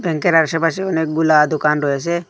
ব্যাঙ্কের আশেপাশে অনেকগুলা দুকান রয়েসে।